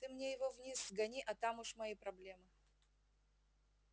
ты мне его вниз сгони а там уж мои проблемы